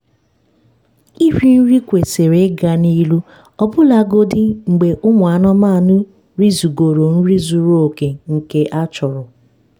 iri nri kwesịrị ịga n'ihu ọbụlagodi mgbe ụmụ anụmanụ rizugoro nri zuru oke nke a chọrọ